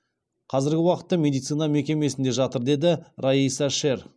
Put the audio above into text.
азіргі уақытта медицина мекемесінде жатыр деді райса шер